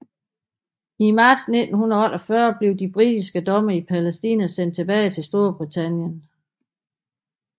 I marts 1948 blev de britiske dommere i Palæstina sendt tilbage til Storbritannien